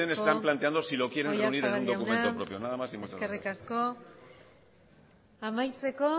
que ustedes están planteando si lo quieren reunir en un documento propio nada más y muchas gracias eskerrik asko oyarzabal jauna amaitzeko